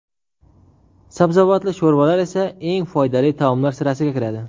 Sabzavotli sho‘rvalar esa eng foydali taomlar sirasiga kiradi.